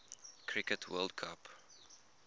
cricket world cup